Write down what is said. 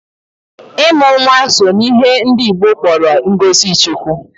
Ịmụ nwa so n'ihe ndị Igbo kpọrọ ngozi Chiukwu.